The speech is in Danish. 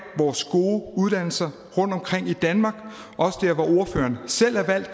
vores gode uddannelser rundtomkring i danmark også der hvor ordføreren selv er valgt